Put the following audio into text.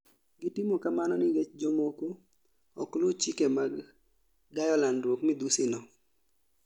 Gitimo kamano nikech jomoko okluu chike mag gayo landruok midhusi no